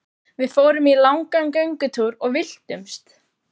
Við fórum í langan göngutúr og villtumst!